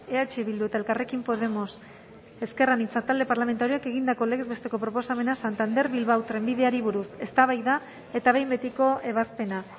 eh bildu eta elkarrekin podemos ezker anitza talde parlamentarioak egindako legez besteko proposamena santander bilbao trenbideari buruz eztabaida eta behin betiko ebazpena